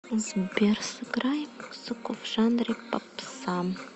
сбер сыграй музыку в жанре попса